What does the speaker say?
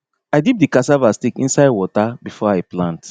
i dip di cassava stick inside water before i plant